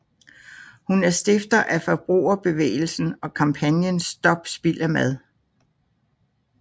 Hun er stifter af forbrugerbevægelsen og kampagnen Stop Spild Af Mad